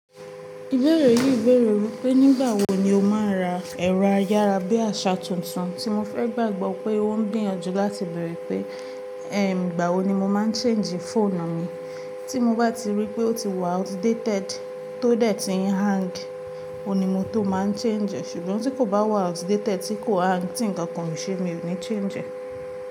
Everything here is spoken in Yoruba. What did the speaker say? Ìbéèrè yìí béèrè wípé nígbà wo ni o máa ń ra ẹ̀rọ ayára bí àṣá tuntun tí mo fẹ́ gbàgbọ́ pé ó ń gbìyànjú láti bẹ̀rẹ̀ pé, ìgbà wo ni mo máa ń change fóònù mi tí mo bá ti rí pé ó ti wà outdated tó dẹ̀ ti ń hang, òní mo tó máa ń change e ṣùgbọ́n tí kò bá wà outdated tí kò hang tí ǹkan kàn ṣe mi ò ní change e.